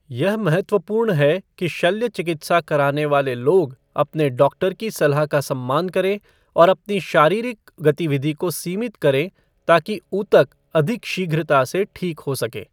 यह महत्वपूर्ण है कि शल्यचिकित्सा कराने वाले लोग अपने डॉक्टर की सलाह का सम्मान करें और अपनी शारीरिक गतिविधि को सीमित करें ताकि ऊतक अधिक शीघ्रता से ठीक हो सकें।